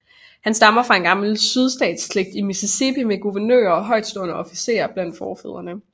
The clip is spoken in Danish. Han stammer fra en gammel sydstatsslægt i Mississippi med guvernører og højtstående officerer blandt forfædrene